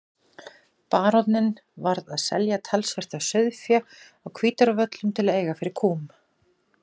Baróninn varð að selja talsvert af sauðfé á Hvítárvöllum til að eiga fyrir kúm.